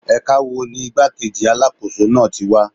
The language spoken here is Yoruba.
Ẹ̀ka wo ni igbá-kejì Alákóso náà tí wá?